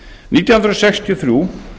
nítján hundruð sextíu og þrjú